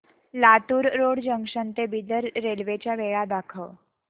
Latur road junction ते Bidar railway च्या वेळा दाखव